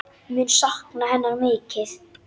Mun sakna hennar mikið.